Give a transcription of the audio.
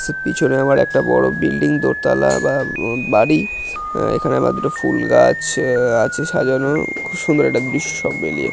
পিছনে আমার একটা বড় বিল্ডিং দোতালা বা বাড়ি এখানে আবার দুটো ফুল গাছ আছে সাজানো খুব সুন্দর একটা--